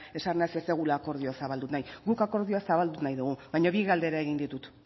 esanaz ez dugula akordioa zabaldu nahi guk akordioa zabaldu nahi dugu baina bi galdera egin ditut